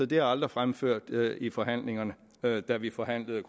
det er aldrig fremført i forhandlingerne da vi forhandlede